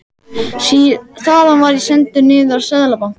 Þaðan var ég sendur niður í Seðlabanka.